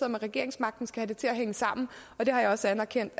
med regeringsmagten skal have det til at hænge sammen og det har jeg også anerkendt